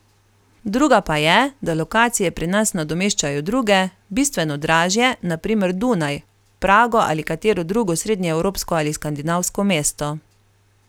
Druga pa je, da lokacije pri nas nadomeščajo druge, bistveno dražje, na primer Dunaj, Prago ali katero drugo srednjeevropsko ali skandinavsko mesto.